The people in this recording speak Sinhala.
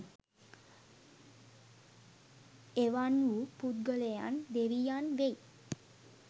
එවන්වූ පුද්ගලයන් දෙවියන් වෙයි